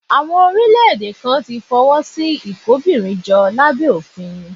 Àwọn orílẹ̀-èdè kan ti fọwọ́ sí ìkóbìnrinjọ lábẹ́ òfin